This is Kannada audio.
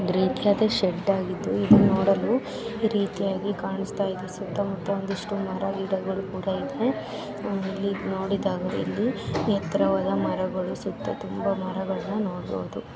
ಗ್ರೇ ಕಲರ್ ಶೇಡಾಗಿದ್ದು ಇದ ನೋಡಲು ರೀತಿಯಾಗಿ ಕಾಣಸ್ತಾ ಇದೆ ಸುತ್ತಮುತ್ತ ಒಂದಿಷ್ಟ್ಟು ಮರ ಗಿಡಗಳು ಕುಡಾ ಇದೆ ಇಲ್ಲಿ ನೋಡಿದಾಗ ಇಲ್ಲಿ ಎತ್ತರವಾದ ಮರಗಳು ಸುತ್ತ ತುಂಬಾ ಮರಗಳು ನೋಡಬಹುದು .